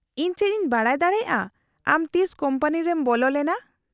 -ᱤᱧ ᱪᱮᱫ ᱤᱧ ᱵᱟᱰᱟᱭ ᱫᱟᱲᱮᱭᱟᱜᱼᱟ ᱟᱢ ᱛᱤᱥ ᱠᱳᱢᱯᱟᱱᱤ ᱨᱮᱢ ᱵᱚᱞᱚ ᱞᱮᱱᱟ ?